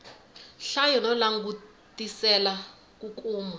hlaya no langutisela ku kuma